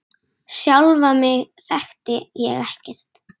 Sjálfa mig þekkti ég ekkert.